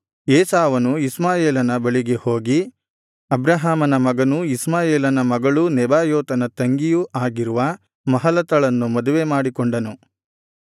ಏಸಾವನು ಇಷ್ಮಾಯೇಲನ ಬಳಿಗೆ ಹೋಗಿ ಅಬ್ರಹಾಮನ ಮಗನೂ ಇಷ್ಮಾಯೇಲನ ಮಗಳೂ ನೆಬಾಯೋತನ ತಂಗಿಯೂ ಆಗಿರುವ ಮಹಲತಳನ್ನು ಮದುವೆ ಮಾಡಿಕೊಂಡನು